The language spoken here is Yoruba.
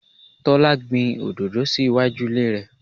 Tọ́lá gbìn òdòdó sì iwájú ilé rẹ.